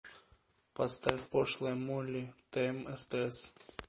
поставь пошлая молли тмстс